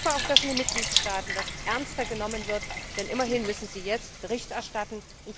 Ich hoffe auch, dass das Thema in den Mitgliedstaaten ernster genommen wird, denn immerhin müssen sie jetzt Bericht erstatten.